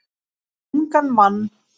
Um ungan mann.